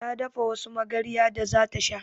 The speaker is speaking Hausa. Ta dafa wadansu magarya da zata sha